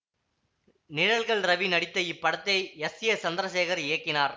நிழல்கள் ரவி நடித்த இப்படத்தை S A Chandrasekhar இயக்கினார்